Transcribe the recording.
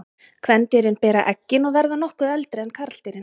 Kvendýrin bera eggin og verða nokkuð eldri en karldýrin.